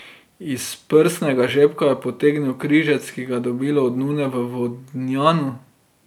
Iz prsnega žepka je potegnil križec, ki ga je dobil od nune v Vodnjanu.